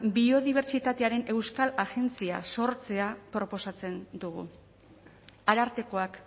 biodibertsitatearen euskal agentzia sortzea proposatzen dugu arartekoak